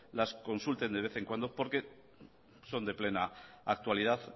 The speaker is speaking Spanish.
las consulten de vez en cuando porque son de plena actualidad